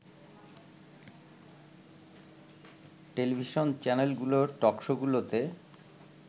television চ্যানেলগুলোর টকশোগুলোতে